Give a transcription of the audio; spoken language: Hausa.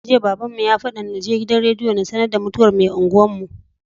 Jiya babbanmu ya fadan naje gidan rediyo na sAnar da mutuwar me unguwar mu